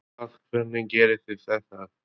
Helgi Vífill: Hvað, hvernig gerið þið þetta?